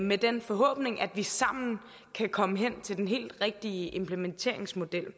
med den forhåbning at vi sammen kan komme hen til den helt rigtige implementeringsmodel jeg